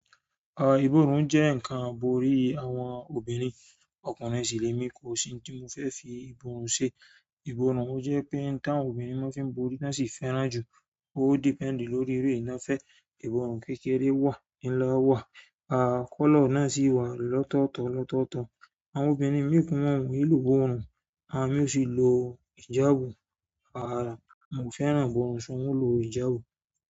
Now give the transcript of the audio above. Ah iborún jẹ́ ǹkan iborí àwọn obìnrin, ọkùnrin sì lè mí kó o si n tí mo fẹ́ fi iborún ṣe. Iborùn ò jẹ́ pé ǹtá àwọn obìnrin máa ń fi borí tan sì fẹ́ràn jù, ó depend lórí irú irú ẹyan fẹ́. Iborùn kékeré wà, nila wà, ah color náà sì wà lọ́tọ̀ọ̀tọ̀ lọ́tọ̀ọ̀tọ̀. Àwọn obìnrin mìí ọ̀nki lò borùn, àwọn mí sì nlò ìjábu, à fẹ́ràn ìborùn ṣùgbọ́n mo lò ìjábu.